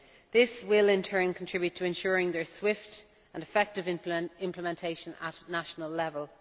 This will in turn contribute to ensuring their swift and effective implementation at national level.